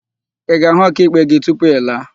Ị ga-ahụ ọkaikpe gị tupu ị laa?